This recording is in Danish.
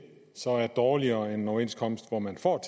så er dårligere end en overenskomst hvor man får